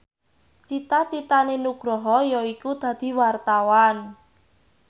cita citane Nugroho yaiku dadi wartawan